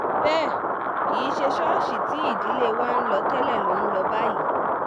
bẹ́ẹ̀ kì í ṣe ṣọ́ọ̀ṣì tí ìdílé wa ń lọ tẹ́lẹ̀ ló ń lọ báyìí